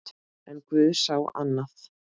En guð sá annað.